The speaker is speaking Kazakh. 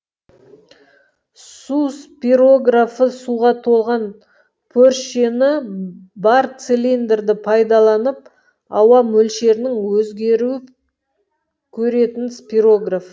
су спирографы суға толған пөршені бар цилиндрді пайдаланып ауа мөлшерінің өзгеру көретін спирограф